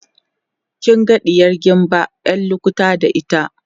kin ga ɗiyar gimba ƴar lukuta da ita